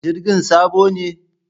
Jirgin sabo ne?